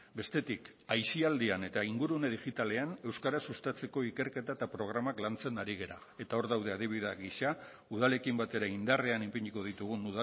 bestetik aisialdian eta ingurune digitalean euskara sustatzeko ikerketa eta programak lantzen ari gara eta hor daude adibide gisa udalekin batera indarrean ipiniko ditugun